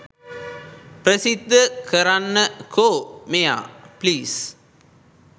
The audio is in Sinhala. ප්‍රසිද්ධ කරන්න කෝ මෙයා ප්ලීස්!